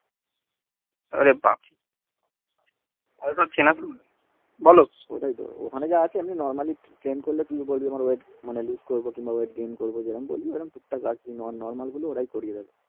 আরে বাপরে এদের চেনো তুমি বোলো এখানে যারা আসে normally প্রেম করলে ড্রিংক করলে এরম টুকটাক আসে করিয়ে দেবে